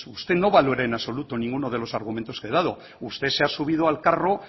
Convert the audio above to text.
pues usted no valora en absoluto ninguno de los argumentos que he dado usted se ha subido al carro